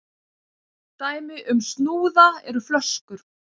dæmi um snúða eru flöskur